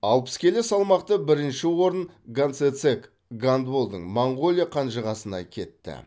алпыс келі салмақты бірінші орын ганцэцэг ганболдтың монғолия қанжығасында кетті